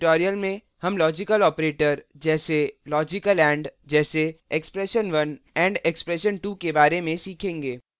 इस tutorial में हम logical operators जैसेlogical and जैसे expression1 && expression2 के बारे में सीखेंगे